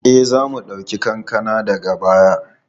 E, za mu ɗauki kankana daga baya.